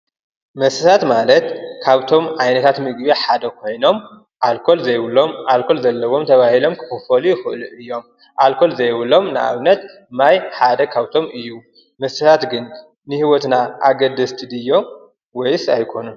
መስተታት ማለት ካብቶም ዓይነታት ምግቢ ሓደ ኮይኖም ኣልኮል ዘይብሎም ኣልኮል ዘለዎም ተባሂሎም ክክፈሉ ይክእሉ እዮም ኣልኮል ዘይብሎም ማይ ካብቶም ሓደ እዩ። ሰባት ግን ን ሂወትና ኣገደስቲ ድዮም ወይስ ኣይኮኑን?